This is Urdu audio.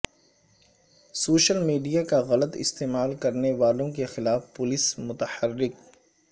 سوشل میڈیا کا غلط استعمال کرنے والوں کے خلاف پولیس متحرک